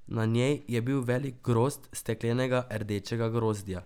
Na njej je bil velik grozd steklenega rdečega grozdja.